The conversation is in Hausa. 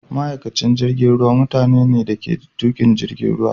Ma'aikacin jirigin ruwa mutani ne dake tukin jirigin ruwa.